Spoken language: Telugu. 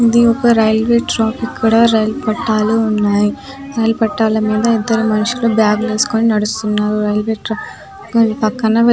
ఇది ఒక్క రైల్వే ట్రాక్ ఇక్కడ రైలు పట్టాలు ఉన్నాయి రైల్ పట్టాల మీద ఇద్దరు మనుషులు బాగ్ వేసుకొని నడుస్తున్నారు రైల్వే ట్రాక్ పక్కన --